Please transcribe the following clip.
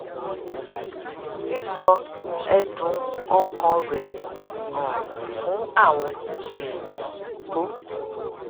sísọ ẹdùn ọkàn rẹ um fún àwọn èèyàn tó